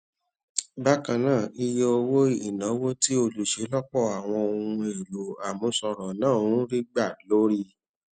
bákan náà iye owó ìnáwó tí olùṣelọpọ àwọn ohun èlò àmúṣọrò náà ń rí gbà lórí